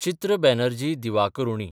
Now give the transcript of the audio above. चित्र बॅनर्जी दिवाकरूणी